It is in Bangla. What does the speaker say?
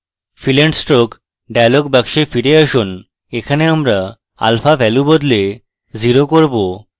fill and stroke dialog box ফিরে আসুন এখানে আমরা alpha value বদলে 0 করব